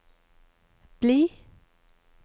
bli